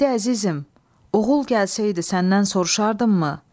Dedi: Əzizim, oğul gəlsəydi səndən soruşardım mı?